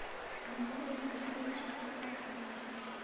в номере не хватает чистых полотенец